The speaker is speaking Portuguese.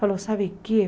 Falou, sabe o quê?